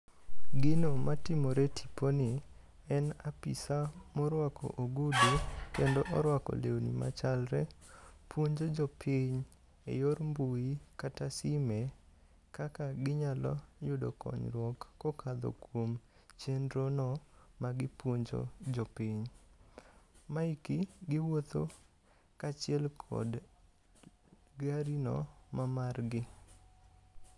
Gino matimore e tipo ni, en apisa morwako ogudu kendo orwako lewni machalre. Puonjo jo piny e yor mbui kata sime kaka ginyalo yudo konyruok kokadho kuom chenro no magipuonjo jopiny. Maeki giwuotho kaachiel kod gari no mamargi.